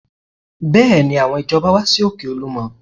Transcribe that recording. Bẹ́ẹ̀ni, àwọn ìjọba wá sí òkè Olúmọ